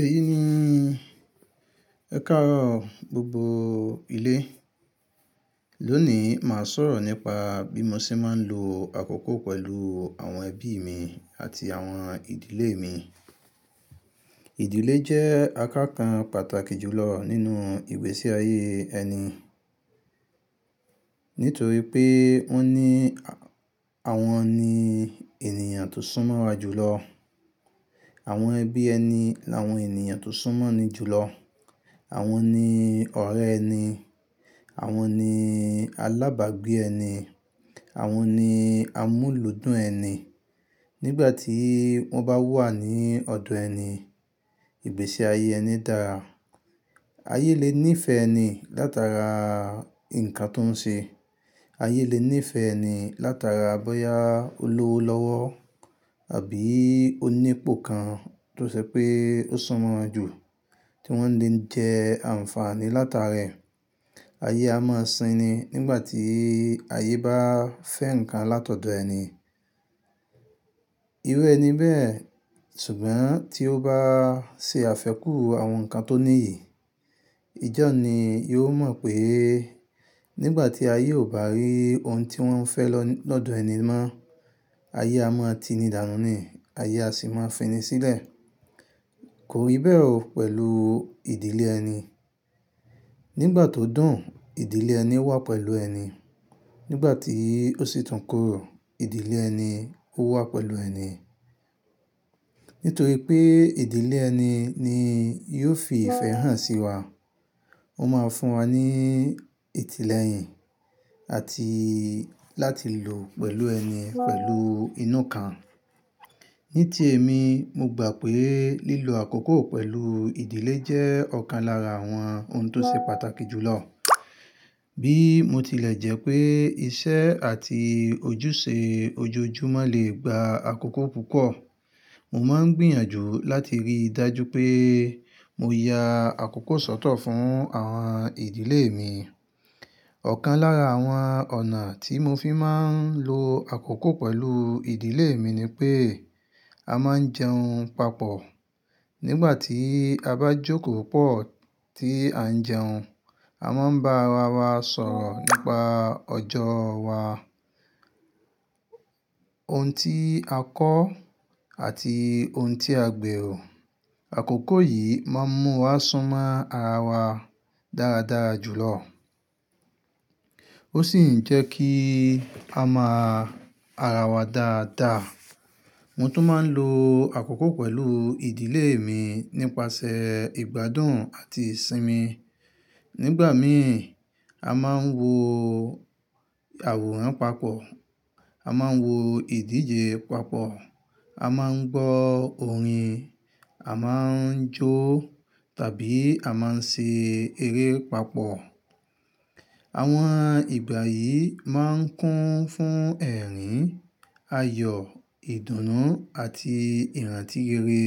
Èyí ni ẹ̀karo gbogbo ilé. Lónìí, màá sọ̀rọ̀ nípa bí mo ṣe máa ń lo àkókò pẹ̀lú àwọn ẹbí mi àti àwọn ìdílé mi. Ìdílé jẹ́ àkànkan pàtàkì jù lọ nínú ìgbésí ayé ẹni. Nítorí pé wọn ní àwọn ni ènìyàn tó sún mọ́ wa jù lọ. Àwọn ẹbí ẹni làwọn ènìyàn tó sún mọ́ ni jù lọ. Àwọn ni ọ̀rẹ́ ẹni, àwọn ni alábàágbé ẹni, àwọn ni amúlùdùn ẹni. Nígbà tí wọ́n bá wà ní ọ̀dọ̀ ẹni, ìgbésí ayé ẹni dára. Ayé lè níìfẹ̀ ẹni látara ǹkan tó ń ṣe. Ayé lè níìfẹ̀ ẹni látara bóyá ó lówó lọ́wọ́ àbí ó ní ipò kan tó ṣe pé ó sún mọ́ wa jù, tí wọ́n lè ń jẹ àǹfààní látara ẹ̀. Ayé a máa sin ni nígbà tí ayé bá fẹ́ ǹkan látọ̀dọ̀ ẹni. Irú ẹ ni bẹ́ẹ̀, ṣùgbọ́n tí ó bá ṣe àfẹ́kù àwọn ǹkan tó níyì, ijọ ni yóò mọ̀ pé nígbà tí ayé ò bá rí ohun tí wọ́n fẹ́ lọ́dọ̀ ẹni mọ́, ayé a máa ti ni dànú ni, ayé a sì máa fi ni sílẹ̀. Kò rí bẹ́ o pẹ̀lú ìdílé ẹni. Nígbà tó dùn, ìdílé ẹni wà pẹ̀lú ẹni. Nígbà tí ó sì tún korò, ìdílé ẹni ó wà pẹ̀lú ẹni. Nítorí pé ìdílé ẹni ni yóò fi ìfẹ́ hàn sí wa. Ó máa ń fún wa ní ìtìlẹ̀yìn àti láti lò pẹ̀lú ẹni pẹ̀lú inú ká. Ní ti èmi, mo gbà pé lílo àkókò pẹ̀lú ìdílé jẹ́ ọ̀kan lára àwọn ohun tó ṣe pàtàkì jù lọ. Bí mo tilẹ̀ jẹ́ pé iṣẹ́ àti ojúṣe ojoojúmọ́ lè gba àkókò púpọ̀, mo máa ń gbìyànjú láti rí dájú pé mo ya àkókò sọ́tọ̀ fún àwọn ìdílé mi. Ọ̀kan lára àwọn ọ̀nà tí mo fi máa ń lo àkókò pẹ̀lú ìdílé mi ni pé a máa ń jẹun papọ̀. Nígbà tí a bá jókòó pọ̀ tí à ń jẹun, a máa ń bá ara wa sọ̀rọ̀ nípa ọjọ́ wa, ohun tí a kọ́ àti ohun tí a gbèrò. Àkókò yìí máa ń mú wa súnmọ́ ara wa dára dára jù lọ. Ó sì ń jẹ́ kí a mọ ara wa dáadáa. Mo tún máa ń lo àkókò pẹ̀lú ìdílé mi nípasẹ̀ ìgbádùn àti ìsinmi. Nígbà mìí, a máa ń wo àwòrán papọ̀, a máa ń wo ìdíje papọ̀, a máa ń gbọ́ orin, a máa ń jó tàbí a máa ń ṣe eré papọ̀. Àwọn ìgbà yìí máa ń kún fún ẹ̀rín, ayọ̀, ìdùnnú àti ìrántí ire